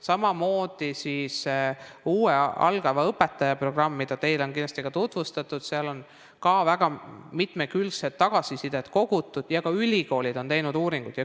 Samamoodi on uue algava õpetaja programm, mida teile on kindlasti ka tutvustatud, on ka väga mitmekülgset tagasisidet kogutud ja ka ülikoolid on teinud uuringuid.